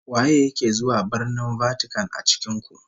Waye yake zuwa Birnin Vatican a cikin ku?